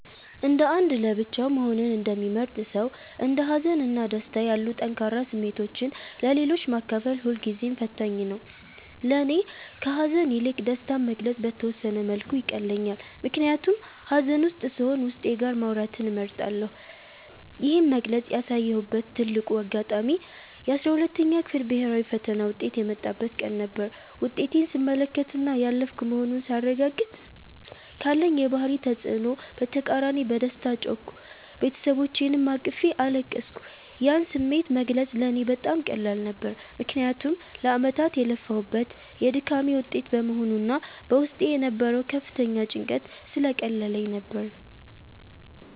እንደ አንድ ለብቻው መሆንን እንደሚመርጥ ሰው፣ እንደ ሀዘን እና ደስታ ያሉ ጠንካራ ስሜቶችን ለሌሎች ማካፈል ሁልጊዜም ፈታኝ ነው። ለእኔ ከሐዘን ይልቅ ደስታን መግለጽ በተወሰነ መልኩ ይቀለኛል፤ ምክንያቱም ሐዘን ውስጥ ስሆን ዉስጤ ጋር ማውራትን እመርጣለሁ። ይህን በግልጽ ያሳየሁበት ትልቁ አጋጣሚ የ12ኛ ክፍል ብሔራዊ ፈተና ውጤት የመጣበት ቀን ነበር። ውጤቴን ስመለከትና ያለፍኩ መሆኑን ሳረጋግጥ፤ ካለኝ የባህሪ ተጽዕኖ በተቃራኒ በደስታ ጮህኩ፤ ቤተሰቦቼንም አቅፌ አለቀስኩ። ያን ስሜት መግለጽ ለእኔ በጣም ቀላል ነበር፤ ምክንያቱም ለዓመታት የለፋሁበት የድካሜ ውጤት በመሆኑና በውስጤ የነበረው ከፍተኛ ጭንቀት ስለቀለለልኝ ነበር።